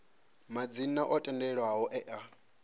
madzina o tendelwaho e a